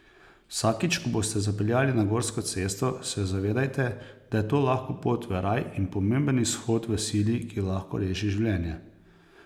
Vsakič, ko boste zapeljali na gorsko cesto, se zavedajte, da je to lahko pot v raj in pomemben izhod v sili, ki lahko reši življenje.